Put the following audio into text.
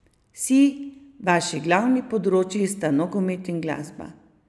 Si, vaši glavni področji sta nogomet in glasba.